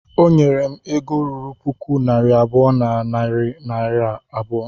Ọnyere m ego ruru puku naira abụọ na narị naira abụọ